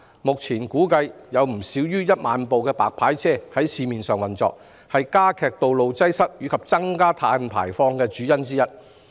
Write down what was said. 目前市面上估計有不少於1萬部"白牌車"營運，這是加劇道路擠塞及增加碳排放的主因之一。